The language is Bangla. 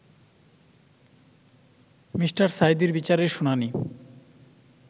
মি. সাঈদীর বিচারের শুনানি